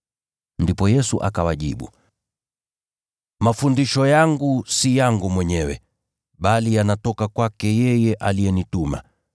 Ndipo Yesu akawajibu, “Mafundisho yangu si yangu mwenyewe, bali yanatoka kwake yeye aliyenituma.